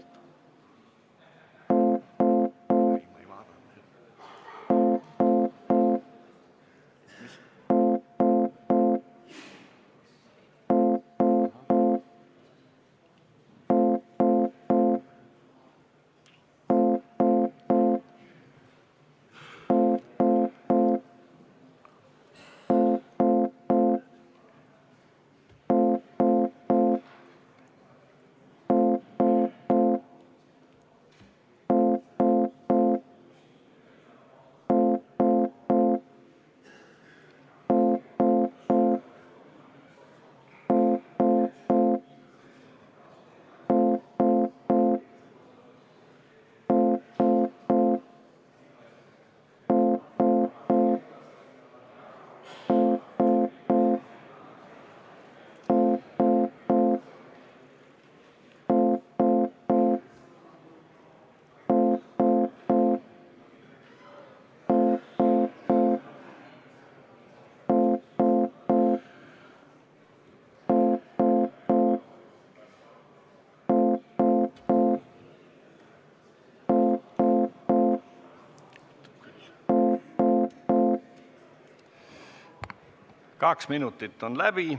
Kaks minutit on läbi.